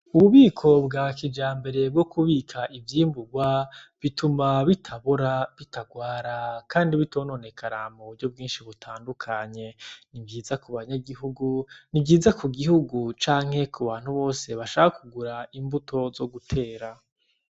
Ububiko bwa kija mbere bwo kubika ivyimburwa bituma bitabora bitarwara, kandi bitabononekarama ubuvyo bwinshi butandukanye ni byiza ku banyagihugu ni byiza ku gihugu canke ku bantu bose bashaka kugura imbuto zo gutera.